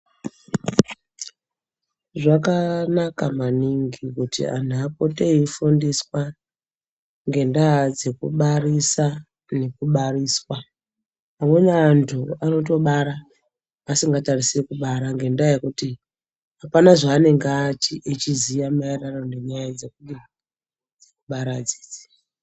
Zvakanaka maningi kuti anhu apote eifundiswaa ngendaa dzekubarisaa, nekubariswaa, Amweni vantu anotobara vasingatarisiri kubara ngendaa yekuti hapana zvaanenge echiziva maererano ngendaa dzekubara idzi.